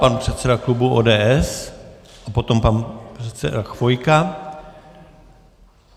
Pan předseda klubu ODS a potom pan předseda Chvojka.